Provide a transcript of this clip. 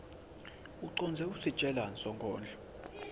ucondze kusitjelani sonkondlo